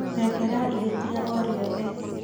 Rekera ihĩtia o riothe